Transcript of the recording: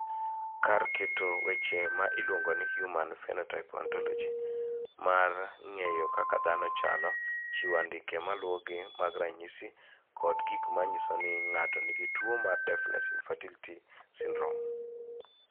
Kar keto weche ma iluongo ni Human Phenotype Ontology mar ng�eyo kaka dhano chalo, chiwo andike ma luwogi mag ranyisi kod gik ma nyiso ni ng�ato nigi tuo mar Deafness infertility syndrome.